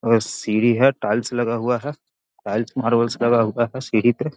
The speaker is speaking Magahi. ओकरा सीढ़ी हेय टाइल्स लगा हुआ है टाइल्स मार्बल लगा हुआ है सीढ़ी पे।